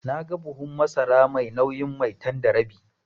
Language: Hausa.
Naga buhun masara mai nauyin Maitan da rabi.